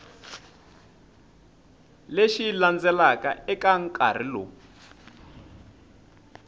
lexi landzelaka eka nkarhi lowu